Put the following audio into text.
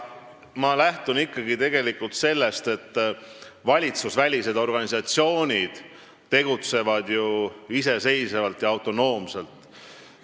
Ma lähtun ikkagi sellest, et valitsusvälised organisatsioonid tegutsevad iseseisvalt ja autonoomselt.